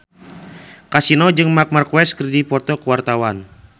Kasino jeung Marc Marquez keur dipoto ku wartawan